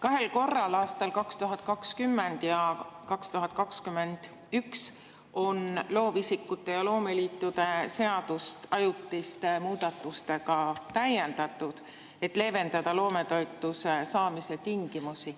Kahel korral, aastal 2020 ja 2021, on loovisikute ja loomeliitude seadust ajutiste muudatustega täiendatud, et leevendada loometoetuse saamise tingimusi.